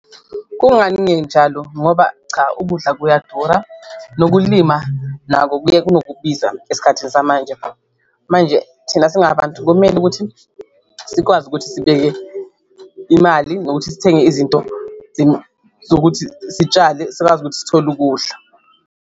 Kungani ngenjalo? Ngoba cha ukudla kuyadura nokulima nako kuye kunokubiza esikhathini samanje, manje thina singabantu kumele ukuthi sikwazi ukuthi sibeke imali nokuthi sithenge izinto zokuthi sitshale sikwazi ukuthi sithole ukudla.